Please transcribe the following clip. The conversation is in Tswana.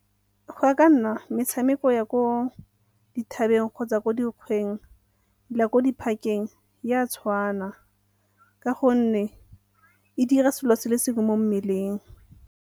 Go ya ka nna metshameko ya ko dithabeng kgotsa ko dikgweng, le ya ko di-park-eng e a tshwana ka gonne e dira selo se le sengwe mo mmeleng.